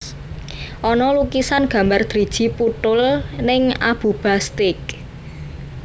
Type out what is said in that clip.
Ono lukisan gambar driji puthul ning Abuba Steak